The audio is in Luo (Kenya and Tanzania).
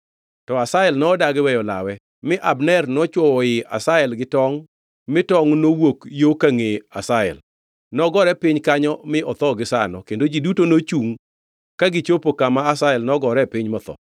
To Asahel nodagi weyo lawe; mi Abner nochwowo ii Asahel gi tongʼ mi tongʼ nowuok yo ka ngʼee Asahel. Nogore piny kanyo mi otho gisano. Kendo ji duto nochungʼ ka gichopo kama Asahel nogore piny motho.